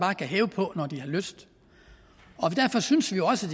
kan hæve på når de har lyst derfor synes vi også